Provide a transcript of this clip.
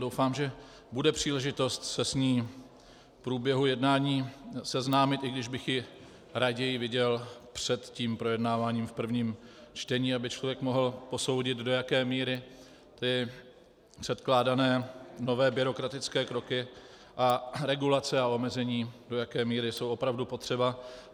Doufám, že bude příležitost se s ní v průběhu jednání seznámit, i když bych ji raději viděl před tím projednáváním v prvním čtení, aby člověk mohl posoudit, do jaké míry ty předkládané nové byrokratické kroky a regulace a omezení, do jaké míry jsou opravdu potřeba.